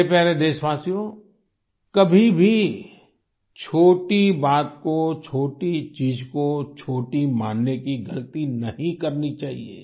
मेरे प्यारे देशवासियो कभी भी छोटी बात को छोटी चीज़ को छोटी मानने की गलती नहीं करनी चाहिए